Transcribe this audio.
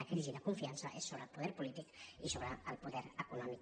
la crisi de confiança és sobre el poder polític i sobre el poder econòmic